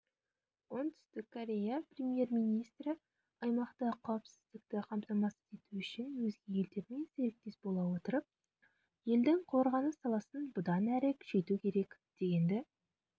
оңтүстік корея премьер-министрі аймақта қауіпсіздікті қамтамасыз ету үшін өзге елдермен серіктес бола отырып елдің қорғаныс саласын бұдан әрі күшейту керек дегенді